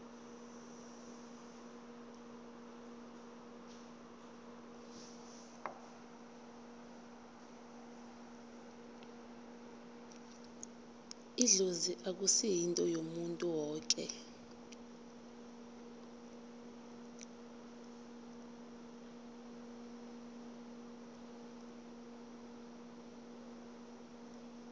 idlozi akusi yinto yomuntu woke